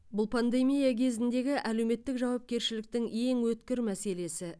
бұл пандемия кезіндегі әлеуметтік жауапкершіліктің ең өткір мәселесі